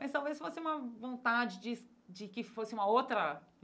Mas talvez fosse uma vontade de de que fosse uma outra.